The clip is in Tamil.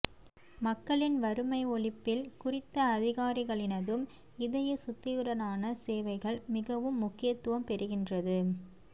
மக்களின் வறுமை ஒழிப்பில் குறித்த அதிகாரிகளினதும் இதயசுத்தியுடனான சேவைகள் மிகவும் முக்கியத்தும் பெறுகின்றது